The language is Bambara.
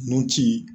Nun ci